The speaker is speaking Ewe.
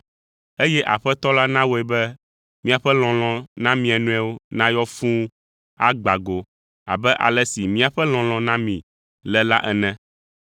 eye Aƒetɔ la nawɔe be miaƒe lɔlɔ̃ na mia nɔewo nayɔ fũu agbã go abe ale si míaƒe lɔlɔ̃ na mi le la ene.